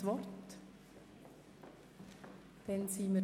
– Das ist nicht der Fall.